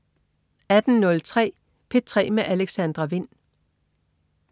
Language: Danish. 18.03 P3 med Alexandra Wind